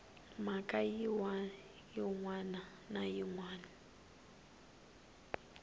mhaka yin wana na yin